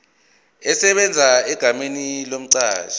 esebenza egameni lomqashi